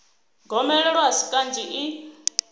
gomelelo a si kanzhi i